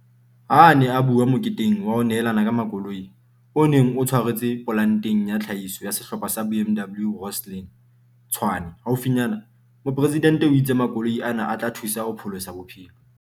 Ha a ne a bua moketeng wa ho nehelana ka makoloi, o neng o tshwaretswe polanteng ya tlhahiso ya Sehlopha sa BMW Rosslyn, Tshwane, haufinyana, Moporesidente Ramaphosa o itse makoloi ana a tla thusa ho pholosa bophelo.